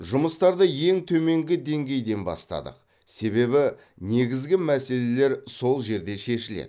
жұмыстарды ең төменгі деңгейден бастадық себебі негізгі мәселелер сол жерде шешіледі